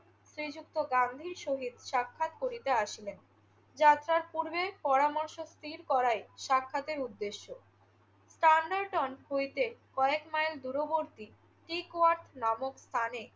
শ্রীযুক্ত গান্ধীর সহিত সাক্ষাৎ করিতে আসিলেন। যাত্রার পূর্বে পরামর্শ স্থির করাই সাক্ষাতের উদ্দেশ্য। তান্ডাইটন হইতে কয়েক মাইল দূরবর্তী স্লিকওয়াক নামক স্থানে